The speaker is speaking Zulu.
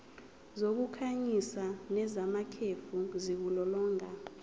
zokukhanyisa nezamakhefu ziwulolonga